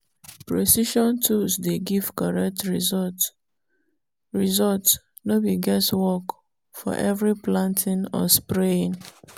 precision tools dey give correct result result no be guess work for every planting or spraying.